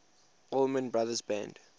allman brothers band